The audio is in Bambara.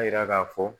A yira k'a fɔ